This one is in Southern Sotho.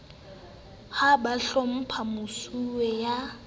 ha ba hlomphe mosuwe ya